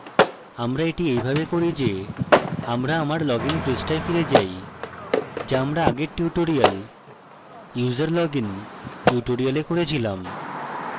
আমার the এইভাবে করি the আমরা আমার login পৃষ্ঠায় ফিরে যাই the আমরা আগের tutorialuserlogin tutorial করেছিলাম